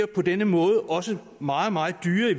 på denne måde også meget meget dyrere